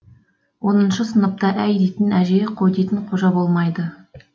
оныншы сыныпта әй дейтін әже қой дейтін қожа болмайды